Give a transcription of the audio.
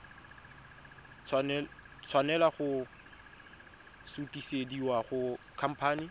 tshwanela go sutisediwa go khamphane